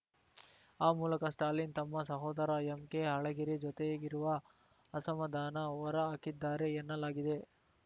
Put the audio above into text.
ಆ ಮೂಲಕ ಸ್ಟಾಲಿನ್‌ ತಮ್ಮ ಸಹೋದರ ಎಂಕೆ ಅಳಗಿರಿ ಜೊತೆಗಿರುವ ಅಸಮಾಧಾನ ಹೊರಹಾಕಿದ್ದಾರೆ ಎನ್ನಲಾಗಿದೆ